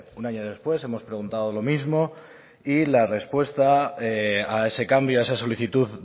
un año después hemos preguntado lo mismo y la respuesta a ese cambio a esa solicitud